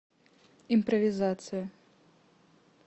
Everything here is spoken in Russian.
импровизация